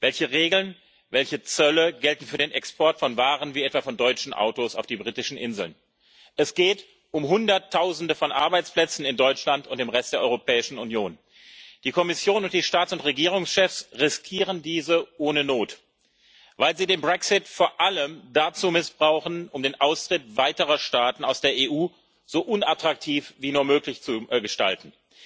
Welche Regeln, welche Zölle gelten für den Export von Waren wie etwa von deutschen Autos auf die britischen Inseln? Es geht um Hunderttausende von Arbeitsplätzen in Deutschland und im Rest der Europäischen Union. Die Kommission und die Staats und Regierungschefs riskieren diese ohne Not, weil sie den Brexit vor allem dazu missbrauchen, den Austritt weiterer Staaten aus der EU so unattraktiv wie nur möglich zu gestalten.